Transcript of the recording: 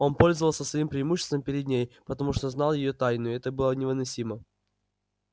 он пользовался своим преимуществом перед ней потому что знал её тайну и это было невыносимо